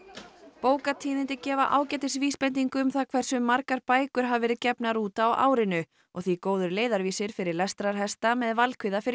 bókatíðindi gefa ágætis vísbendingu um það hversu margar bækur hafa verið gefnar út á árinu og því góður leiðarvísir fyrir lestrarhesta með valkvíða fyrir